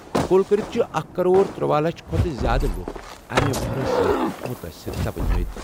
کُل کٔرِتھ چھِ اکھ کَرور ترٗوہ لچھ کھۄتہٕ زِیٛادٕ لُکھ امہِ وَہرٲژ سۭتۍ مُتٲثِر سپدٕۍ مٕتۍ ۔